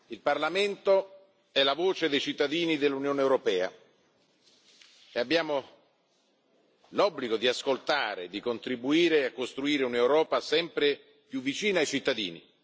Il Parlamento è la voce dei cittadini dell'Unione europea e abbiamo l'obbligo di ascoltare e di contribuire a costruire un'Europa sempre più vicina ai cittadini.